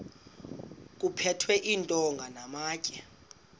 kuphethwe iintonga namatye